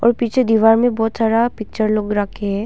और पीछे दीवार में बहुत सारा पिक्चर लोग रखे हैं।